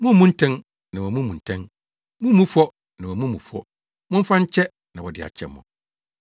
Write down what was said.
“Mummmu ntɛn, na wɔammu mo ntɛn; mummmu fɔ, na wɔammu mo fɔ; momfa nkyɛ, na wɔde akyɛ mo.